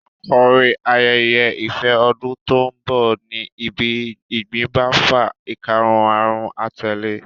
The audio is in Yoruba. Àkórí ayẹyẹ ìfẹ ọdún tó ń bọ̀ ní bí ìgbín bá fà ìkarahun a tẹ̀le e